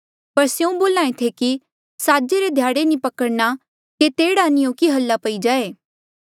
पर स्यों बोल्हा ऐें थे कि साजे रे ध्याड़े नी पकड़णा केते एह्ड़ा नी हो कि हाल्ला पई जाए